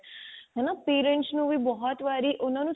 parents ਨੂੰ ਵੀ ਉਹਨਾਂ ਨੂੰ ਬਹੁਤ ਵਾਰੀ ਉਹਨਾਂ ਨੂੰ